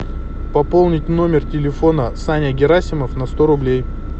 пополнить номер телефона саня герасимов на сто рублей